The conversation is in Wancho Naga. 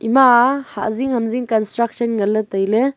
emaa hazing hamzing construction ngan le taile.